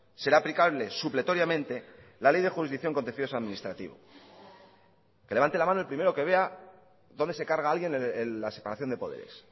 será aplicable supletoriamente la ley de jurisdicción contencioso administrativo que levante la mano el primero que vea dónde se carga alguien la separación de poderes